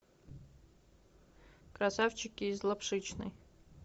красавчики из лапшичной